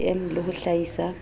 ya bcm le ho hlaisa